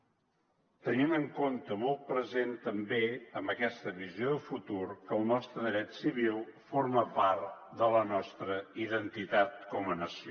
tenint en compte i molt present també amb aquesta visió de futur que el nostre dret civil forma part de la nostra identitat com a nació